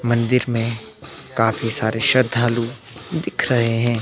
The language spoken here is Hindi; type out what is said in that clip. मंदिर में काफी सारे श्रद्धालु दिख रहे हैं।